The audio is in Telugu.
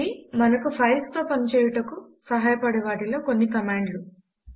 ఇవి మనకు ఫైల్స్ తో పని చేయుటకు సహాయపడే వాటిలో కొన్ని కమాండ్ లు